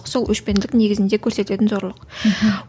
сол өшпенділік негізінде көрсететін зорлық мхм